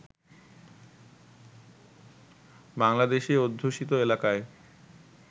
বাংলাদেশি অধ্যূষিত এলাকায়